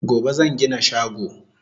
Gobe zan gina shago